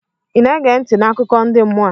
ị na-ege ntị n' akụkọ ndi mmụọ a?